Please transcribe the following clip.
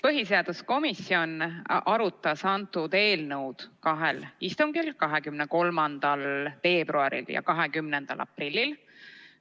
Põhiseaduskomisjon arutas seda eelnõu kahel istungil, 23. veebruaril ja 20. aprillil.